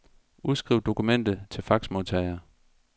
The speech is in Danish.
Udskriv dokumentet til faxmodtager.